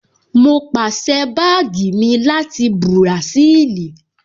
Mo pàsẹ́ báàgì mi láti Bùràṣíìlì